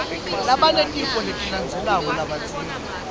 labanetifo letilandzelandzelako labadzinga